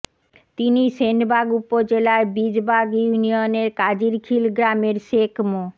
তিনি সেনবাগ উপজেলার বীজবাগ ইউনিয়নের কাজিরখীল গ্রামের শেখ মো